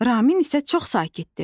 Ramin isə çox sakitdir.